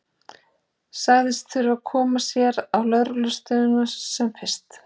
Sagðist þurfa að koma sér á lögreglustöðina sem fyrst.